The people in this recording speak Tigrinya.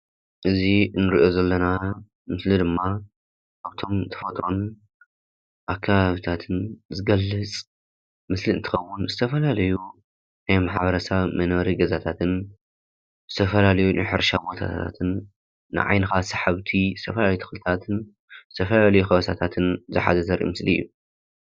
እዚ እንሪኦ ዘለና ምስሊ ድማ ካብቶም ተፈጥሮን አከባቢታትን ዝገልፅ ምስሊ እንትኸውን፤ ዝተፈላለዩ ናይ ማሕበረ ሰብ መንበሪ ገዛታትን ዝተፈላለዩ ናይ ሕርሻ ቦታታትን ንዓይንኻ ሰሓብቲ ዝተፈላለዩ ተኽልታትን ዝተፈላለዩ ከበሳታትን ዝሓዘ ዘርኢ ምስሊ እዩ፡፡